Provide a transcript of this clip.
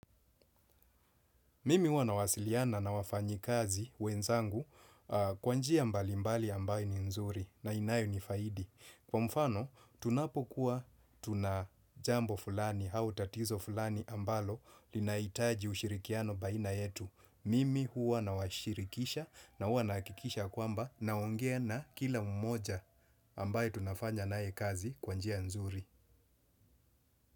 Mimi huwa nawasiliana na wafanyikazi wenzangu kwa njia mbali mbali ambayo ni nzuri na inayo ni faidi. Kwa mfano, tunapokuwa tunajambo fulani au tatizo fulani ambalo linahitaji ushirikiano baina yetu. Mimi huwa nawashirikisha na huwa nahakikisha kwamba naongea na kila mmoja ambaye tunafanya naye kazi kwa njia nzuri.